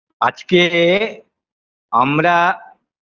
আজকে আমরা